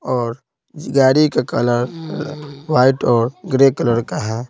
और गाड़ी का कलर वाइट और ग्रे कलर का है।